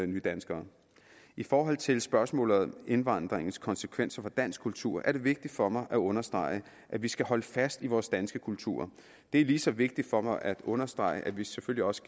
nydanskere i forhold til spørgsmålet om indvandringens konsekvenser for dansk kultur er det vigtigt for mig at understrege at vi skal holde fast i vores danske kultur det er lige så vigtigt for mig at understrege at vi selvfølgelig også